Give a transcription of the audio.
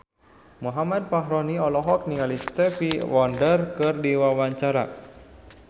Muhammad Fachroni olohok ningali Stevie Wonder keur diwawancara